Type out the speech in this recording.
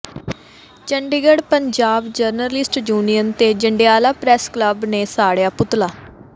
Chandigarh Punjab journalist union ਤੇ Jandiala press club ਨੇ ਸਾੜਿਆ ਪੁਤਲਾ